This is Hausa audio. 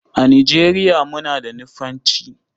A Nigeriya muna da Nufanci.